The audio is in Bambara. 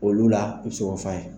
Olu la i bɛ se k'o f'a